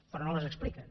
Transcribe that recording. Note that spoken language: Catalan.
però no les expliquen